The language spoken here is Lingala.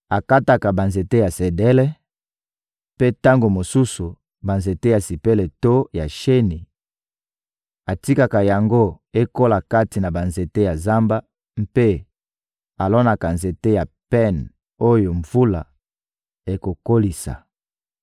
Akataka banzete ya sedele; mpe tango mosusu, banzete ya sipele to ya sheni; atikaka yango ekola kati na banzete ya zamba mpe alonaka nzete ya pen oyo mvula ekokolisa.